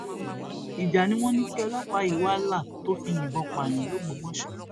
ìjà ni wọn ní kí ọlọpàá yìí wàá là tó fi yìnbọn pààyàn lògbómòso